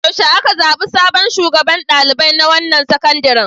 Yaushe aka zaɓi sabon shugaban ɗalibai na wannan sakandaren?